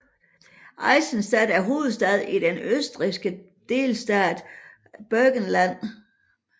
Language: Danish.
Eisenstadt er hovedstad i den østrigske delstat Burgenland